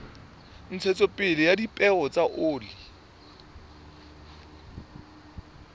ntshetsopele ya dipeo tsa oli